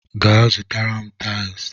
Gaa zụtara m taịls!